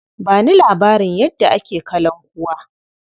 Ba ni labarin yadda ake kalankuwa.